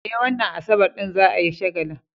Eh, wannan Asabar din za a yi shagalin.